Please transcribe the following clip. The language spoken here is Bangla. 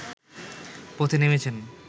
পথে নেমেছেন